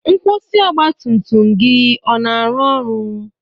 Nkwusi ọgbatumtum gị ọ na-arụ ọrụ?